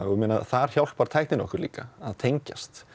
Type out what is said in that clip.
þar hjálpar tæknin okkur líka að tengjast